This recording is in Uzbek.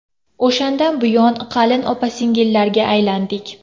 O‘shandan buyon qalin opa-singillarga aylandik.